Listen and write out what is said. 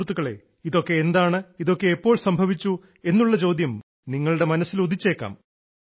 സുഹൃത്തുക്കളേ ഇതൊക്കെ എന്താണ് ഇതൊക്കെ എപ്പോൾ സംഭവിച്ചു എന്നുള്ള ചോദ്യം നിങ്ങളുടെ മനസ്സിൽ ഉദിച്ചേക്കാം